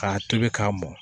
K'a tobi k'a mɔn